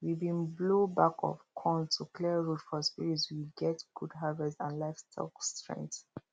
we been blow back of conch to clear road for spirits we get good harvest and livestock strength